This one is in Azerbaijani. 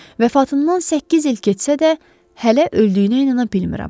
Vəfatından səkkiz il keçsə də, hələ öldüyünə inana bilmirəm.